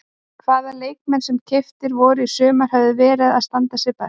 Hvaða leikmenn sem keyptir voru í sumar hafa verið að standa sig best?